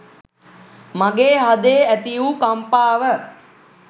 මගේ හදේ ඇතිවූ කම්පාව